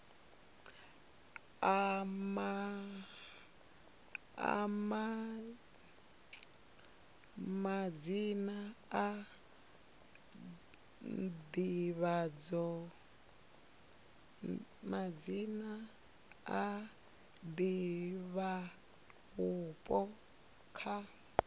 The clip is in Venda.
a madzina a divhavhupo kha